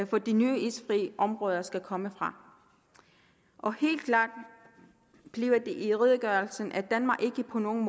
for de nye isfri områder skal komme fra og helt klart bliver det i redegørelsen at danmark ikke på nogen